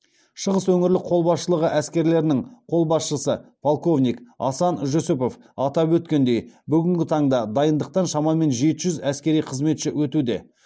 шығыс өңірлік қолбасшылығы әскерлерінің қолбасшысы полковник асан жүсіпов атап өткендей бүгінгі таңда дайындықтан шамамен жеті жүз әскери қызметші өтуде